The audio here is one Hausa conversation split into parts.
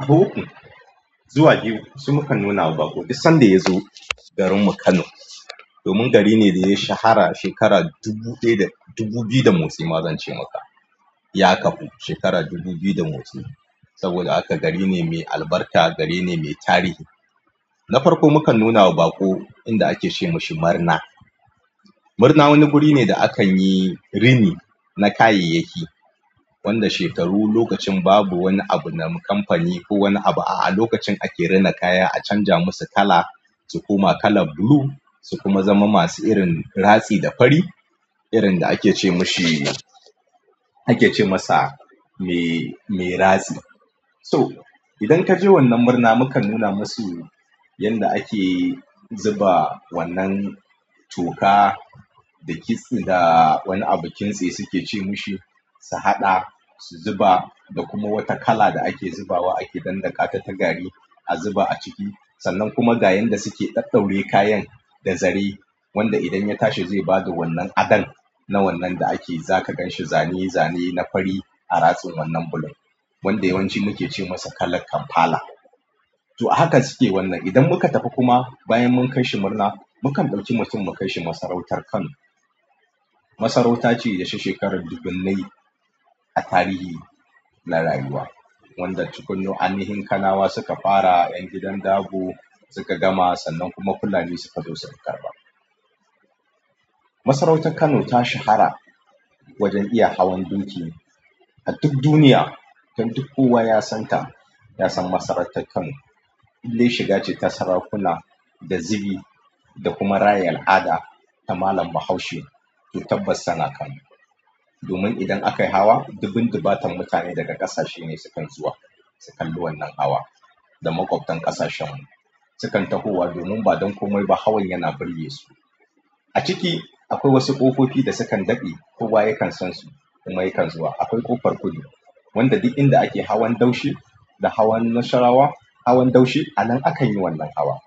A hagu zuwa biyu su mukan nuna wa baƙo, duk sanda yazo garinmu Kano. Domin gari ne ɗaya shahara shekara dubu ɗaya da dubu biyu da motsi ma zance maka. Ya kafu shekara dubu biyu da motsi. Saboda haka gari ne mai albarka. Gari ne mai tarihi. Na farko mukan nuna wa baƙo inda ake ce mishi marna. Murna wani guri ne da akan yi rini na kayayyaki wanda shekaru lokacin babu wani abu na kamfani ko wani abu a'a, lokacin ake rina kaya a canja musu kala su koma kalan blue su kuma zama masu irin ratsi da fari irin da ake ce mishi, ake ce masa mai ratsi. To idan kaje wannan murna, mu kan nuna musu yanda ake zuba wannan toka da kit da wani abu kintse suke ce mushi su haɗa, su zuba da kuma wata kala da ake zubawa ake dandanƙata ta gari a zuba a ciki. Sannan kuma ga yanda suke ɗaɗɗaure kayan da zare wanda idan ya tashi zai bada wannan adon na wannan da ake zaka ganshi zane zane na fari a ratsin wannan blue. Wanda yawanci muke ce masa kalan kampala. To a hakan suke wan. Idan muka tafi kuma bayan mun kai shi murna, mu kan ɗauki mutum mu kai shi masarautar Kano. Masarauta ce da ta shekara dubunnai a tarihi na rayuwa. Wanda tukunya ainihin kanawa suka fara, ƴan gidan dabo suka gama sannan kuma fulani suka zo su karɓa. Masarautar Kano ta shahara wajen iya hawan doki a duk duniya. Dan duk kowa ya santa, ya san masarautar Kano. In dai shiga ce ta sarakuna, da zubi da kuma raya al'ada ta malam bahaushe. To tabbas sai a Kano. Domin idan aka yi hawa, dubun dubatan mutane daga ƙasashe ne sukan zuwa. Su kalli wannan hawa da maƙwabtan ƙasashen mu. Sukan tahowa domin ba don komai ba hawan yana burge su. A ciki akwai wasu ƙofofi da sukan daɗe kowa yakan san su. Kuma yakan zuwa. Akwai ƙofar kudu wanda duk inda ake hawan daushe da hawan nasarawa. Hawan daushe anan a kan yi wannan hawa.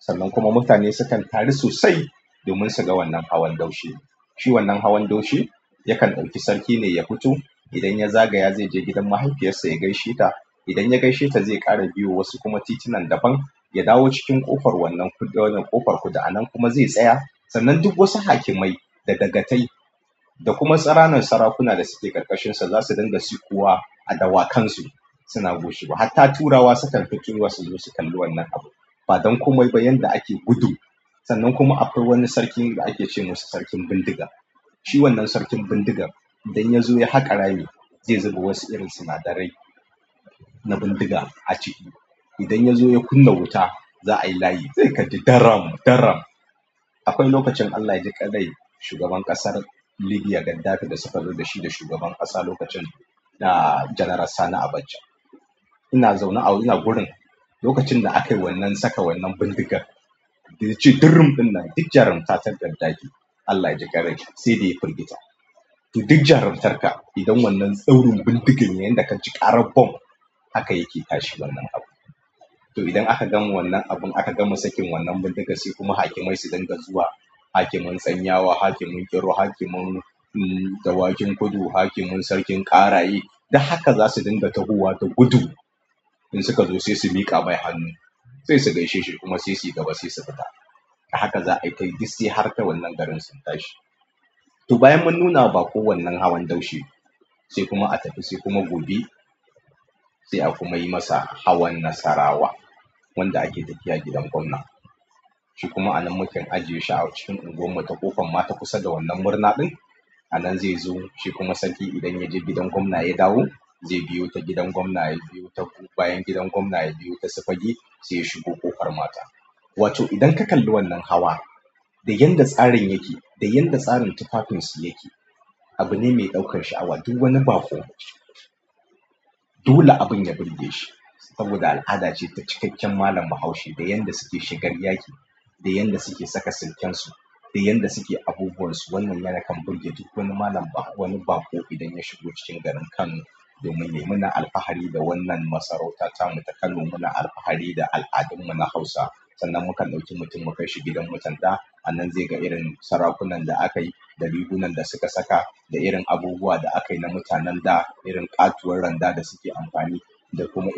Sannan kuma mutane sukan taru sosai domin su ga wannan hawan daushe. Shi wannan hawan daushe yakan ɗauki sarki ne ya fito. Idan ya zagaya zai je gidan mahaifiyarsa ya gaishe ta. Idan ya gaishe ta zai ƙara biyo wasu kuma titunan daban ya dawo cikin ƙofar wannan kudu, wannan ƙofar kudu anan kuma zai tsaya. Sannan duk wasu hakimai da dagatai da kuma tsaranan sarakuna da suke ƙarƙashinsa za su dinga sukuwa a dawakan su. Suna goshewa hatta turawa sukan fakewa suzo su kalli wannan abun. Badan komaiba yanda ake gudu. Sannan kuma akwai wani sarki da ake ce masa sarkin bindiga. Shi wannan sarkin bindigan, idan ya zo ya haƙa rami zai zuba wasu irin sinadarai na bindiga a ciki. Idan ya zo ya kunna wuta za'a yi layi. Zai kaji daram daram. Akwai lokacin Allah ya jiƙan rai shugaban ƙasar Libya Gaddafi da suka zo da shi da shugaban ƙasa lokacin na General Sani Abacha. Ina zaune a wurin ina gurin lokacin da aka yi wannan saka wannan bindigar. Da yace durrum ɗin nan duk jarumta ta Gaddafi Allah ya jiƙan rai sai ɗaya firgita. To duk jarumtarka idan wannan tsaurin bindigan yanda ka ji ƙarar bom haka yake tashi wannan abu. To idan aka gama wannan abun aka gama sakin wannan bindiga sai kuma hakimai su dinga zuwa. Hakimin tsanyawa, hakimin ƙiro, hakimin dawakin kudu, hakimin sarkin ƙaraye duk haka za su dinga tahowa da gudu. In suka zo sai su miƙa mai hannu. Sai su gaishe shi kuma sai suyi gaba sai su fita. A haka za aita yi dik sai har ta wannan garin sun tashi. To bayan mun nuna wa baƙo wannan hawan daushe sai kuma a tafi sai kuma gobe sai a kuma yi masa hawan nasarawa wanda ake tafiya gidan gwamna. Shi kuma anan mukan aje shi a cikin unguwarmu ta ƙofar mata kusa da wannan murna ɗin. Anan zai zo shi kuma sarki idan ya je gidan gwamna ya dawo zai biyo ta gidan gwamna ya biyo ta bayan gidan gwamna ya biyo ta su fage sai ya shigo ƙofar mata. Wato idan ka kalli wannan hawa da yanda tsarin yake, da yanda tsarin tufafinsu yake, abune mai ɗaukar sha'awa. Duk wani baƙo dole abun ya burgeshi saboda al'ada ce ta cikakken malam bahaushe, da yanda suke shigar yaƙi, da yanda suke saka sulken su da yanda suke abubuwan su. Wannan yana kan burge duk wani malam bah. Wani baƙo idan ya shigo cikin garin Kano. Domin me? Muna alfahari da wannan masarauta tamu ta Kano. Muna alfahari da al'adunmu na Hausa. Sannan mukan ɗauki mutum mu kai shi gidan mutan ɗa. Anan zai ga irin sarakunan da aka yi, da rigunan da suka saka, da irin abubuwa da aka yi na mutanen da, irin ƙatuwar randa da suke amfani da kuma irin.